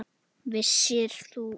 Vissir þú.